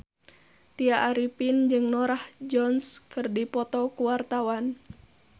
Tya Arifin jeung Norah Jones keur dipoto ku wartawan